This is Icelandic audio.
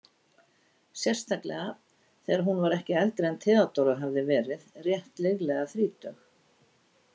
Sérstaklega þegar hún var ekki eldri en Theodóra hafði verið, rétt liðlega þrítug.